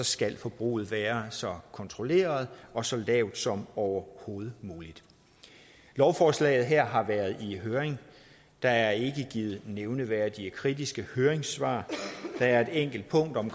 skal forbruget være så kontrolleret og så lavt som overhovedet muligt lovforslaget her har været i høring der er ikke givet nævneværdig kritiske høringssvar der er et enkelt punkt om